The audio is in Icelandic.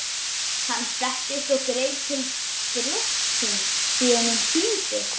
Hann settist og greip til brjóstsins því honum þyngdi.